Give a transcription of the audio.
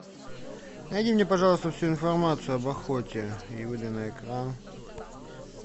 найди мне пожалуйста всю информацию об охоте и выдай на экран